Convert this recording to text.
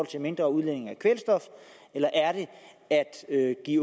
til mindre udledning af kvælstof eller er det at give